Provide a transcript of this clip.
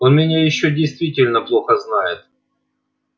он меня ещё действительно плохо знает